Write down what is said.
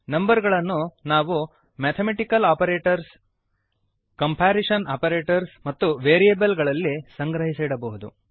numbers ಗಳನ್ನು ನಾವು mathematical operators comparison operators ಮತ್ತು ವೇರಿಯೇಬಲ್ಸ್ ಗಳಲ್ಲಿ ಸಂಗ್ರಹಿಸಿಡಬಹುದು